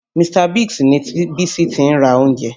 Mr. Biggs ni Bísí ti ra oúnjẹ